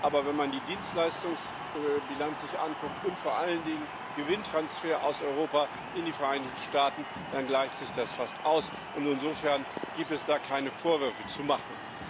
Aber wenn man sich die Dienstleistungsbilanz anguckt und vor allen Dingen die Gewinntransfers aus Europa in die Vereinigten Staaten, dann gleicht sich das fast aus, und insofern gibt es da keine Vorwürfe zu machen.